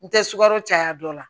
N tɛ sukaro caya don la